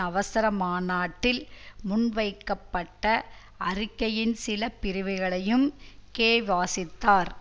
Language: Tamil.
அவசர மாநாட்டில் முன்வைக்கப்பட்ட அறிக்கையின் சில பிரிவுகளையும் கே வாசித்தார்